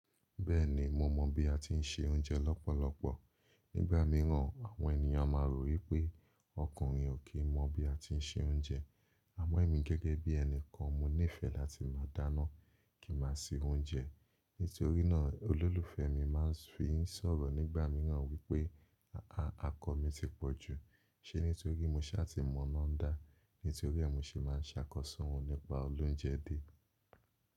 Bẹ́ẹ̀ni, mo mọ̀ bí a ti ń se oúnjẹ lọ́pọ̀lọpọ̀. Nígbà mìíràn, àwọn ènìyàn máa rò wípé ọkùnrin ò kí mọ bí a ti ń se oúnjẹ. A mọ̀ mí gẹ́gẹ́ bí ẹni kan mo nífẹ̀ẹ́ láti máa dáná kí máa ṣe oúnjẹ. Nítorí náà olólùfẹ́ mi máa ń fi sọ̀rọ̀ nígbà mìíràn wípé, à á, àkọ mi ti pọ̀ jù. Ṣé nítorí mo ṣá ti mọ́ iná dá? Nítorí mo ṣe máa ń ṣàkọsọ́ òun nípa olóunjẹ dé.